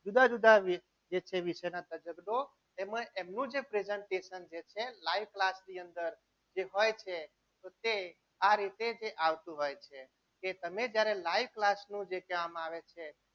જુદા જુદા જે વિષયના શિક્ષકો એમાં એમનું જે presentation જે છે live class ની અંદર જે હોય છે તે આ રીતે જ આવતું હોય છે કે તમે જ્યારે live class નું જે કહેવામાં આવે છે.